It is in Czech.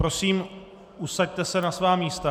Prosím, usaďte se na svá místa.